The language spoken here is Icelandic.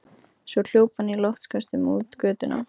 Svo hljóp hann í loftköstum út götuna.